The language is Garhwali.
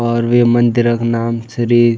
और वे मंदिरक नाम श्री --